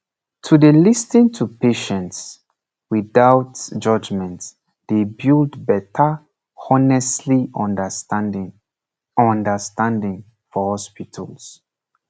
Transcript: to dey lis ten to patients without judgement dey build better honestly understanding understanding for hospitals